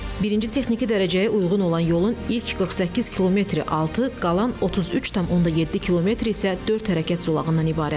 Birinci texniki dərəcəyə uyğun olan yolun ilk 48 km-i 6, qalan 33,7 km-i isə dörd hərəkət zolağından ibarətdir.